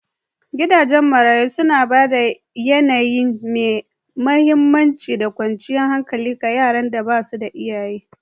Gidajen marayu suna ba da yAnayi mai aminci da kwanciyar hankali ga yaran da ba su da iyaye